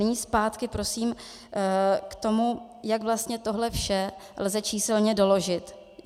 Nyní zpátky prosím k tomu, jak vlastně tohle vše lze číselně doložit.